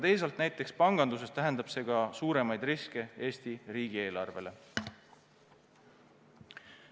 Teisalt, näiteks panganduses tähendab see ka suuremaid riske Eesti riigieelarvele.